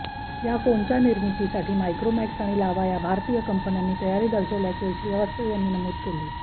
या फोनच्या निर्मितीसाठी मायक्रोमॅक्स आणि लाव्हा या भारतीय कंपन्यांनी तयारी दर्शवल्याचेही श्रीवास्तव यांनी नमूद केले